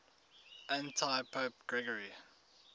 antipope gregory